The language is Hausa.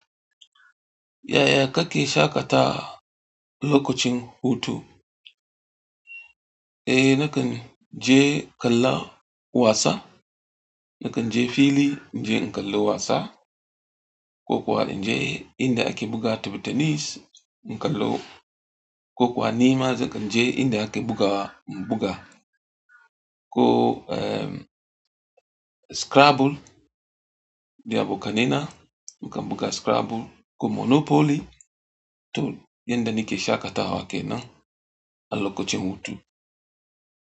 Yaya kake shaƙatawa lokacin hutu? Eh nakan je kallon wasa, nakan je fili inje kallon wasa, ko kuwa in je inda ake buga tenis, kallon ko kuwa ni ma nakan je inda ake bugawa in buga ko scrabble, nida abokaina, mukan buga scrabble ko monopoly to inda nike shaƙatawa kenan a lokacin hutu.